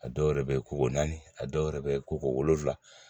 A dɔw yɛrɛ bɛ koko naani a dɔw yɛrɛ bɛ koko wolonwula